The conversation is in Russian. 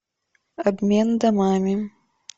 обмен домами